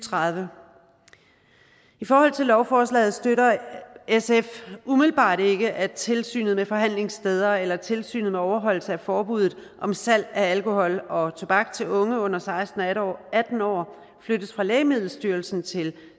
tredive i forhold til lovforslaget støtter sf umiddelbart ikke at tilsynet med forhandlingssteder eller tilsynet med overholdelse af forbuddet om salg af alkohol og tobak til unge under seksten og atten år flyttes fra lægemiddelstyrelsen til